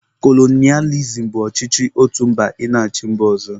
Kolonịalizim bụ ọchịchị otu mba ị na-achị mba ọzọ